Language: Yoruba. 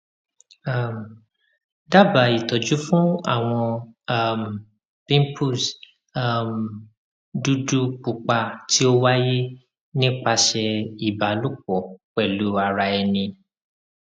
um daba itọju fun awọn um pimples um dudu pupa ti o waye nipasẹ iba lopo pelu ara eni